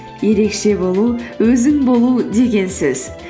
ерекше болу өзің болу деген сөз